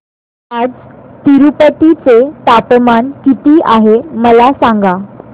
आज तिरूपती चे तापमान किती आहे मला सांगा